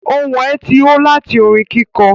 Ohun ẹ̀ tí ó láti orin kíkọ